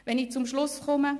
Um zum Schluss zu kommen: